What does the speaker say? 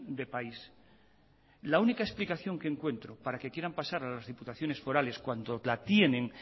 de país la única explicación que encuentro para que quieran pasar a las diputaciones forales cuando la tienen